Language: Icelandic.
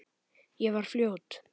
Ég var fljót.